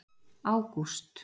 ágúst